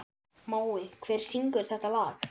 Mói, hver syngur þetta lag?